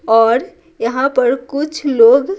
और यहाँ पर कुछ लोग--